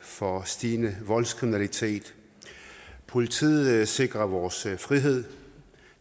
for stigende voldskriminalitet politiet sikrer vores frihed